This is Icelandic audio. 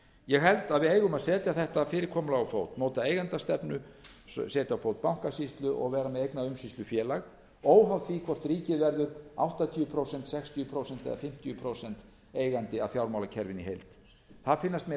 ég held að við eigum að setja þetta fyrirkomulag á fót móta eigendastefnu setja á fót bankasýslu og vera með eignaumsýslufélag óháð því hvort ríkið verður áttatíu prósent sextíu prósent eða fimmtíu prósent eigandi að fjármálakerfinu í heild það finnast mér